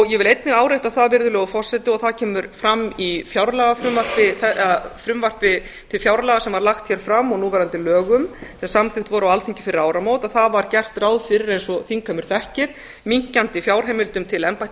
ég vil einnig árétta það virðulegur forseti og það kemur fram í frumvarpi til fjárlaga sem var lagt hér fram og núverandi lögum sem samþykkt voru á alþingi fyrir áramót það var gert ráð fyrir eins og þingheimur þekkir minnkandi fjárheimildum til embættis